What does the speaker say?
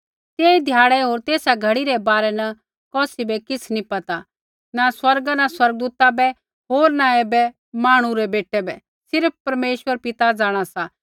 तेई ध्याड़ै होर तेसा घड़ी रै बारै न कौसी बै किछ़ नी पता न स्वर्गा न स्वर्गदूता बै होर न ऐबै मांहणु रै बेटै बै सिर्फ़ परमेश्वर पिता जाँणा सा